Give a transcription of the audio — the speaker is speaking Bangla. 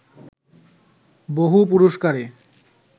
বহু পুরস্কারে